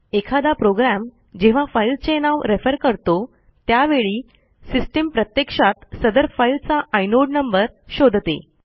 एखादा प्रोग्रॅम जेव्हां फाईलचे नाव रेफर करतो त्यावेळी सिस्टीम प्रत्यक्षात सदर फाईलचा इनोड नंबर शोधते